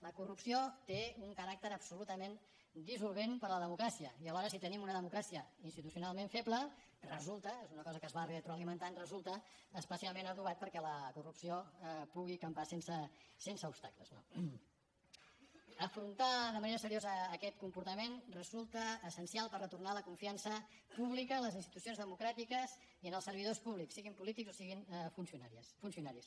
la corrupció té un caràcter absolutament dissolvent per a la democràcia i alhora si tenim una democràcia institucionalment feble és una cosa que es va retroalimentant resulta especialment adobat perquè la corrupció pugui campar sense obstacles no afrontar de manera seriosa aquest comportament resulta essencial per retornar la confiança pública en les institucions democràtiques i en els servidors públics siguin polítics o siguin funcionaris